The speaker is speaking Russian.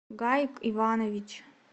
гаик иванович